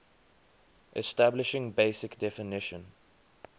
establishing basic definition